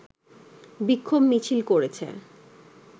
বিক্ষোভ মিছিল করেছে